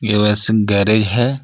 यो यसम गैरेज हे.